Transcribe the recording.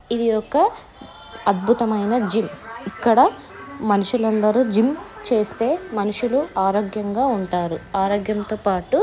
ఇది ఒక అద్బుతమైన జిమ్ ఇక్కడ మనుషులు అందరూ జిమ్ చేస్తే మనుషులు ఆరోగ్యంగా ఉంటారు. ఆరోగ్యంతో పాటు --